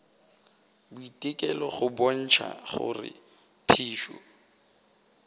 boitekelo go bontšha gore phišo